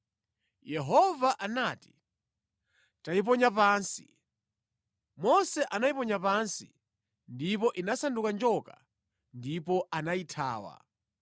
Yehova anati, “Tayiponya pansi.” Mose anayiponya pansi ndipo inasanduka njoka ndipo anayithawa.